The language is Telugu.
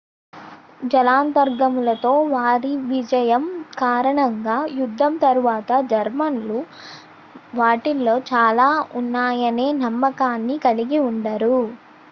జలాంతర్గాములతో వారి విజయం కారణంగా యుద్ధం తరువాత జర్మన్లు వాటిలో చాలా ఉన్నాయనే నమ్మకాన్ని కలిగి ఉండరు